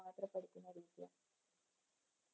മാത്രപ്പെട്ടുത്തുന്ന വിജയം